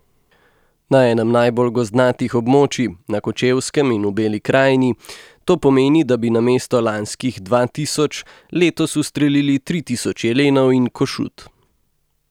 Na enem najbolj gozdnatih območij, na Kočevskem in v Beli krajini, to pomeni, da bi namesto lanskih dva tisoč letos ustrelili tri tisoč jelenov in košut.